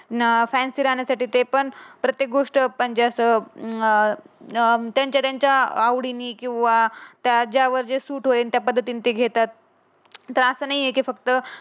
न अं फॅनशी राहण्यासाठी ते पण प्रत्येक गोष्ट म्हणजे असं अं त्यांच्या त्यांच्या आवडीनी किंवा त्याच्यावर जे सूट होईल त्या पद्धतीने ते घेतात. त्या अशा नाही कि ती फक्त